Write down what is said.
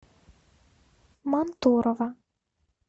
мантурово